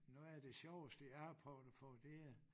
Noget af det sjoveste jeg har prøvet at få det er